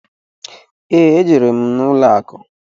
Ee, e jere m ụlọ akụ.